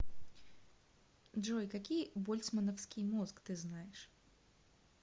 джой какие больцмановский мозг ты знаешь